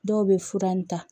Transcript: Dɔw bɛ fura in ta